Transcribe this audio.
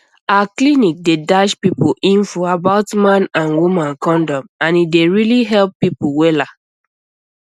our clinic dey dash people info about man and woman condom and e dey really help people wella